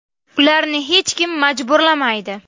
Ularni hech kim majburlamaydi.